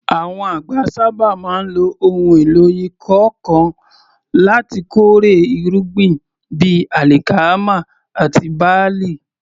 Àwọn àgbẹ̀ sábà máa ń lo ohun èlò ìkọ́ nǹkan láti kórè irúgbìn bíi alikama àti barle.